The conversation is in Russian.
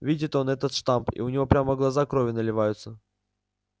видит он этот штамп и у него прямо глаза кровью наливаются